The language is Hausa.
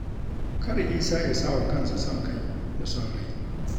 Kar Isa ya sa wa kansa son kai da son rai.